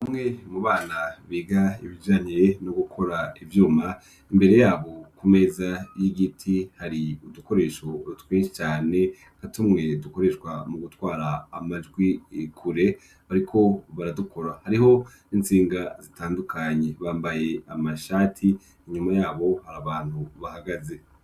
Bamwe mu bana biga ibijantee no gukora ivyuma imbere yabo ku meza y'igiti hari udukoresho rutwi cane gatumwe dukoreshwa mu gutwara amajwi ikure, ariko baradukora hariho 'intsinga zitandukanyi bambaye amashati inyuma yabo harabana antu bahagaze.